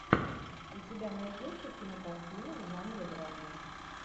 у тебя найдется кинокартина в жанре драма